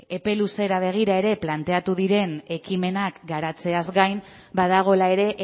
epe luzera begira ere planteatu diren ekimenak garatzeaz gain badagoela ere